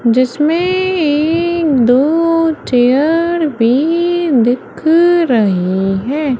जिसमें एक दो चेयर भी दिख रही है।